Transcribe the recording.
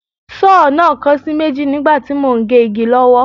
Sọ́ọ̀ náà kan sí méjì nígbà tí mò ń gé igi lọ́wọ́